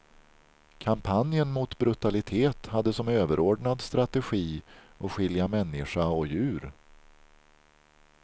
Kampanjen mot brutalitet hade som överordnad strategi att skilja människa och djur.